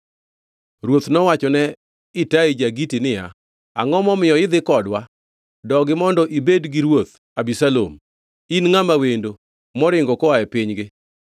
Ruoth nowachone Itai ja-Giti niya, “Angʼo momiyo idhi kodwa? Dogi mondo ibed gi Ruoth Abisalom. In ngʼama wendo, moringo koa e pinygi.